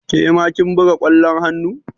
Ke ma kin buga ƙwallon hannu?